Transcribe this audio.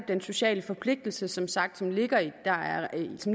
den sociale forpligtelse der som sagt ligger